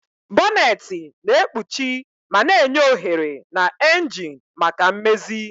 Bonneti na-ekpuchi ma na-enye ohere na engine maka mmezi.